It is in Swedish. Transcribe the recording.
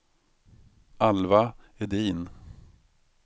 Alva Edin